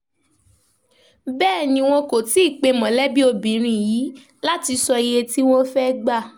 bẹ́ẹ̀ ni wọn kò tí ì pé mọ̀lẹ́bí obìnrin yìí láti sọ iye tí wọ́n fẹ́ẹ́ gbà